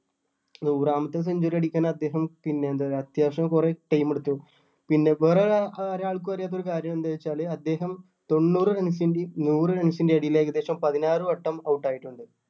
നൂറാമത്തെ century അടിക്കാൻ അദ്ദേഹം അത്യാവശ്യം കുറെ time എടുത്തു പിന്നെ വേറെ ഒരാ അഹ് ഒരാൾക്കും അറിയാത്ത ഒരു കാര്യം എന്താ വെച്ചാല് അദ്ദേഹം തൊണ്ണൂറ് runs ൻ്റെയും നൂറ് runs ൻ്റെ എടേല് ഏകദേശം പതിനാറ് വട്ടം out ആയിട്ടുണ്ട്.